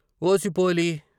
"OC పోలీ!